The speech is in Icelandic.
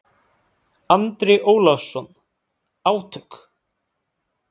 Andri Ólafsson: Átök?